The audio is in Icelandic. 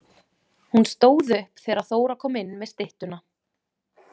Hún stóð upp þegar Þóra kom inn með styttuna.